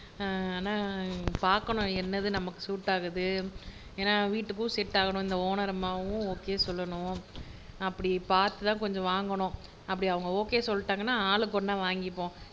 ஹம் ஆனா பாக்கணும் என்னது நமக்கு சூட் ஆகுது ஏன்னா வீட்டுக்கும் செட் ஆகணும் ஒனர் அம்மாவும் ஓகே சொல்லணும் அப்படி பாத்து தான் கொஞ்சம் வாங்கணும் அப்படி அவங்க ஓகே சொல்லிட்டாங்கன்னா ஆளுக்கு ஒன்னா வாங்கிருவோம்